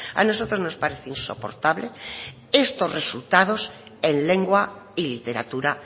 a nosotros nos parece insoportable estos resultados en lengua y literatura